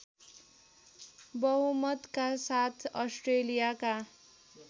बहुमतका साथ अस्ट्रेलियाका